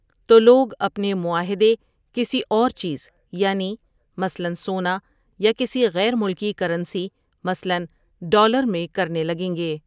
تولوگ اپنے معاہدے کسی اور چیز، یعنی مثلأٔ سونا یا کسی غیر ملکی کرنسی مثلأٔ ڈالر میں کرنے لگیں گے۔